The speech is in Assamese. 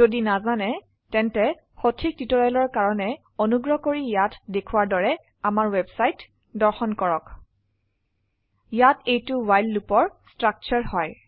যদি নাজানে তেন্তে সঠিক টিউটৰিয়েলৰ কাৰনে অনুগ্ৰহ কৰি ইয়াত দেখোৱাৰ দৰে আমাৰ ৱেবছাইট দৰ্শন কৰক ইয়াত এইটো ৱ্হাইল লুপৰ স্ট্ৰাকচাৰ হয়